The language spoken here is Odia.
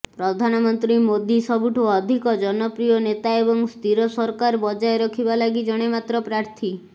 ପ୍ରଧାନମନ୍ତ୍ରୀ ମୋଦି ସବୁଠୁ ଅଧିକ ଜନପ୍ରିୟ ନେତା ଏବଂ ସ୍ଥିର ସରକାର ବଜାୟ ରଖିବାଲାଗି ଜଣେ ମାତ୍ର ପ୍ରାର୍ଥୀ